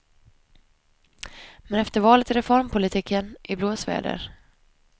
Men efter valet är reformpolitiken i blåsväder.